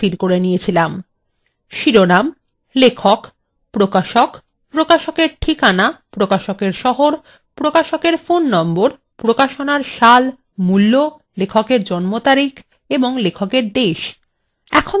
শিরোনাম লেখক প্রকাশক প্রকাশকের ঠিকানা প্রকাশকের শহর প্রকাশকের ফোননম্বর প্রকাশনার সাল মূল্য লেখকের জম্ন তারিখ এবং লেখকের দেশ